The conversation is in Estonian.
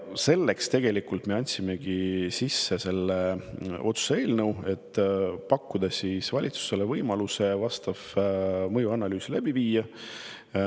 Selleks me andsimegi sisse selle otsuse eelnõu, et pakkuda valitsusele võimalust vastav mõjuanalüüs läbi viia.